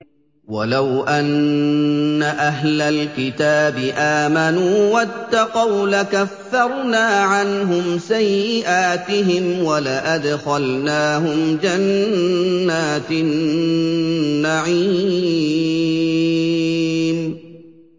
وَلَوْ أَنَّ أَهْلَ الْكِتَابِ آمَنُوا وَاتَّقَوْا لَكَفَّرْنَا عَنْهُمْ سَيِّئَاتِهِمْ وَلَأَدْخَلْنَاهُمْ جَنَّاتِ النَّعِيمِ